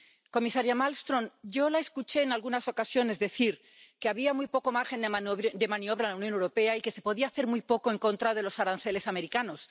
Comisaria Malmström, yo la escuché en algunas ocasiones decir que había muy poco margen de maniobra en la Unión Europea y que se podía hacer muy poco en contra de los aranceles americanos.